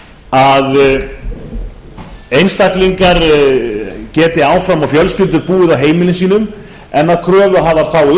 að einstaklingar geti áfram og fjölskyldur búið á heimilum sínum en að kröfuhafar fái